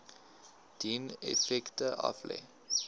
dien effekte aflê